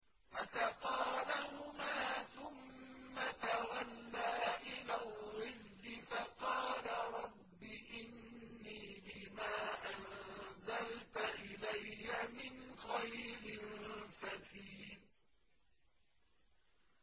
فَسَقَىٰ لَهُمَا ثُمَّ تَوَلَّىٰ إِلَى الظِّلِّ فَقَالَ رَبِّ إِنِّي لِمَا أَنزَلْتَ إِلَيَّ مِنْ خَيْرٍ فَقِيرٌ